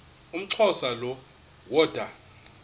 umxhosa lo woda